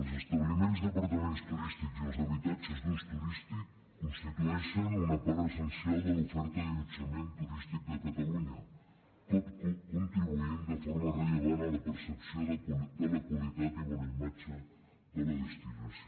els establiments d’apartaments turístics i els habitatges d’ús turístic constitueixen una part essencial de l’oferta d’allotjament turístic de catalunya tot contribuint de forma rellevant a la percepció de la qualitat i bona imatge de la destinació